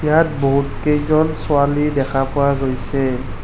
ইয়াত বহুত কেইজন ছোৱালী দেখা পোৱা গৈছে।